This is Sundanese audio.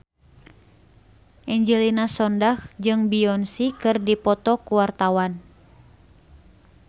Angelina Sondakh jeung Beyonce keur dipoto ku wartawan